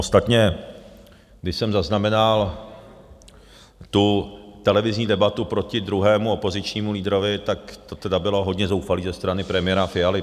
Ostatně, když jsem zaznamenal tu televizní debatu proti druhému opozičnímu lídrovi, tak to tedy bylo hodně zoufalé ze strany premiéra Fialy.